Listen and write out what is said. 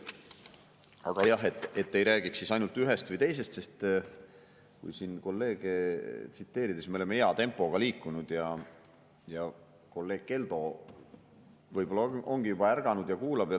Aga jah, et ei räägiks siis ainult ühest või teisest, sest kui siin kolleege tsiteerida, me oleme hea tempoga liikunud, ja kolleeg Keldo võib-olla on juba ärganud ja kuulab.